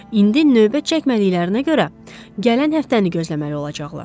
İndi növbə çəkmədiklərinə görə gələn həftəni gözləməli olacaqlar.